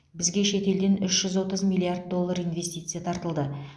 бізге шетелден үш жүз отыз миллиард доллар инвестиция тартылды